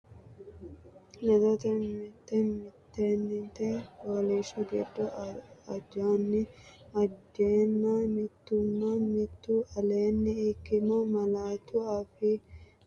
Ledoteno, mitte mittente fooliishsho giddo ajanni ajeenna mittunna mittu aleenni ikkino malaatu afii amado shiqqino Ledoteno, mitte mittente fooliishsho giddo ajanni ajeenna.